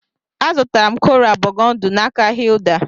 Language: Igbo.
A zụtara m koral bogundi n'aka Hilda